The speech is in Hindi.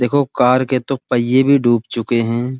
देखो कार के दो पहिये भी डूब चुके हैं।